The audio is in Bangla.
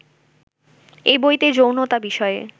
এ বইতে যৌনতা বিষয়ে